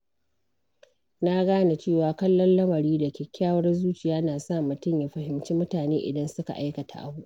Na gane cewa kallon lamari da kyakkyawar zuciya na sa mutum ya fahimci mutane idan suka aikata abu.